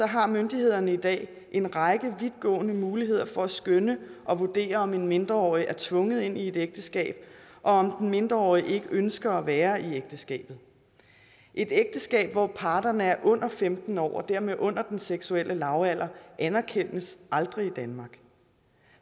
har myndighederne i dag en række vidtgående muligheder for at skønne og vurdere om en mindreårig er tvunget ind i et ægteskab og om den mindreårige ikke ønsker at være i ægteskabet et ægteskab hvor parterne er under femten år og dermed under den seksuelle lavalder anerkendes aldrig i danmark